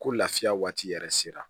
Ko lafiya waati yɛrɛ sera